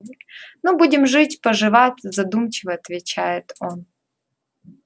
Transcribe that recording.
ну будем жить поживать задумчиво отвечает он